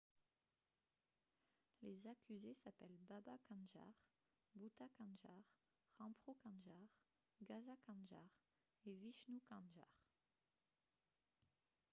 les accusés s'appellent baba kanjar bhutha kanjar rampro kanjar gaza kanjar et vishnu kanjar